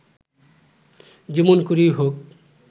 যেমন করেই হোক